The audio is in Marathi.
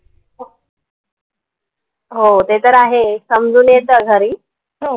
हो ते तर आहे समजून येत घरी हो